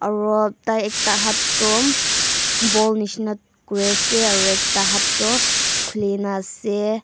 aro tai ekta hat toh boll nishina kuriase aro ekta hat toh khulikaena ase--